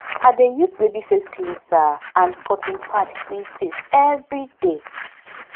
i dey use baby face cleanser and cotton pad clean face everyday